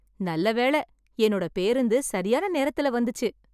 நல்ல வேளை, என்னோட பேருந்து சரியான நேரத்தில வந்துச்சு.